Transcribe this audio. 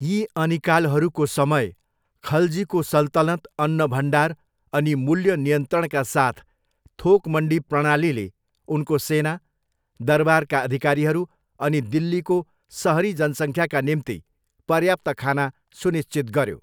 यी अनिकालहरूको समय, खलजीको सल्तनत अन्न भण्डार अनि मूल्य नियन्त्रणका साथ थोक मन्डी प्रणालीले उनको सेना, दरबारका अधिकारीहरू, अनि दिल्लीको सहरी जनसङ्ख्याका निम्ति पर्याप्त खाना सुनिश्चित गऱ्यो।